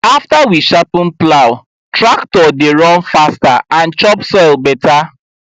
after we sharpen plow tractor dey run faster and chop soil better